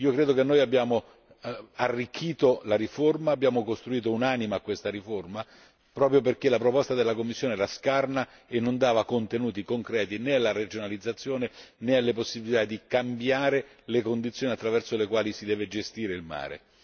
Credo che abbiamo arricchito la riforma, abbiamo costruito un'anima a questa riforma proprio perché la proposta della Commissione era scarna e non dava contenuti concreti né alla regionalizzazione né alle possibilità di cambiare le condizioni attraverso le quali si deve gestire il mare.